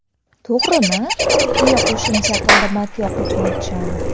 To‘g‘rimi?”, deya qo‘shimcha qildi Matyoqub Matchonov.